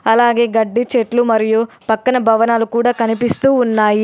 అలాగే గడ్డి చెట్లు మరియు పక్కన భవనాలు కూడా కనిపిస్తూ ఉన్నాయి.